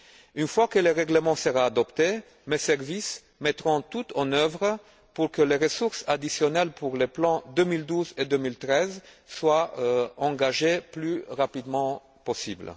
Une fois que le règlement sera adopté, mes services mettront tout en œuvre pour que les ressources additionnelles pour les plans 2012 et 2013 soient engagées le plus rapidement possible.